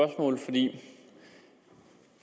det